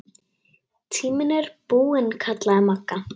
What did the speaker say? Tíminn er búinn kallaði Magga.